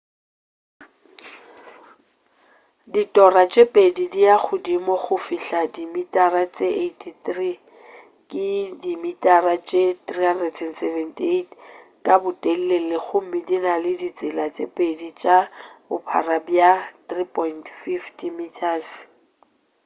ditora tše pedi di ya godimo go fihla dimitara tše 83 ke dimitara tše 378 ka botelele gomme di na le ditsela tše pedi tša bophara bja 3.50 m